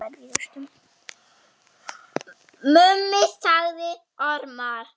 Mummi sagði ormar.